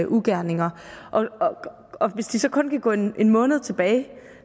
ugerninger og hvis de så kun kan gå en måned tilbage